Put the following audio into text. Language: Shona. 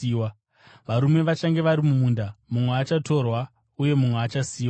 Varume vachange vari mumunda, mumwe achatorwa uye mumwe achasiyiwa.”